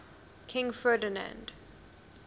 king ferdinand